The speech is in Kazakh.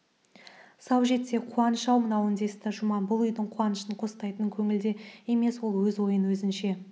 сау жетсе қуаныш-ау мынау десті жұман бұл үйдің қуанышын қостайтын көңілде емес ол өз ойын өзінше